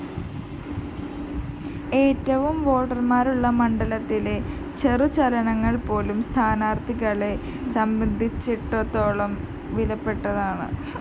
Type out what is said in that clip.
ഏറ്റവുമധികം വോട്ടര്‍മാരുള്ള മണ്ഡലത്തിലെ ചെറു ചലനങ്ങള്‍പോലും സ്ഥാനാര്‍ത്ഥികളെ സംബന്ധിച്ചിടത്തോളം വിലപ്പെട്ടതാണ്‌